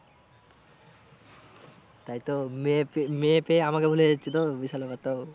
তাই তো মেয়ে ফে মেয়ে পেয়ে আমাকে ভুলে যাচ্ছে তো বিশাল ব্যাপার তো।